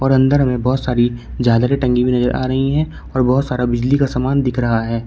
और अंदर हमे बहोत सारी झालरें टंगी हुई नजर आ रही है और बहोत सारा बिजली का सामान दिख रहा है।